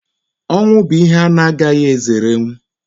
Ọnwụ bụ ihe a na-agaghị ezerenwu.